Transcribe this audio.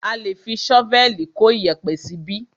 A lé fi ṣọ́vẹ̀lì kó iyẹ̀pẹ̀ síbí.